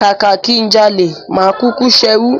Kàkà kí n jalè, máa kúkú ṣerú.